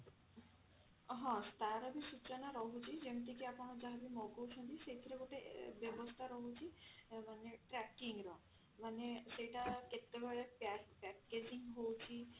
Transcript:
ହଁ ସୂଚନା ରହୁଛି ଯେମତି କି ଆପଣ ଯାହା ବି ମଗଉଛନ୍ତି ସେଇଥିରେ ଗୋଟେ ଏ ବ୍ୟବସ୍ଥା ରହୁଛି ମାନେ tracking ର ମାନେ ସେଇଟା କେତେବେଳେ pack packaging ହଉଛି